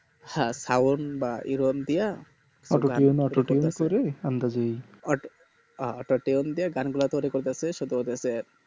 হ্যাঁ sound বা দিয়া আহ auto tune দিয়া গান গুলা তৈরী করবে ক সেটা ওদের কে